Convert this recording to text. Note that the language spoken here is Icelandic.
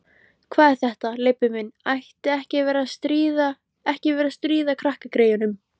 Hvað er þetta, Leibbi minn. ekki vera að stríða krakkagreyjunum!